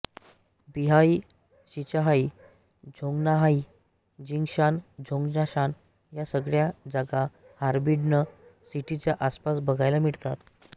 Beihai Shichahai Zhongnanhai Jingshan Zhongshan या सगळ्या जागा फॉर्बिडन सिटीच्या आसपास बघायला मिळतात